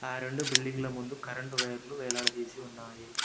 ఆ రెండు బిల్డింగ్ల ముందు కరెంటు వైర్లు వేలాడదీసి ఉన్నాయి.